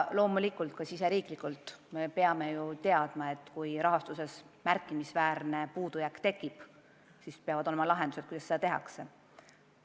Loomulikult me peame Eestis teadma, et kui rahastuses tekib märkimisväärne puudujääk, siis millised on lahendused, kuidas edasi.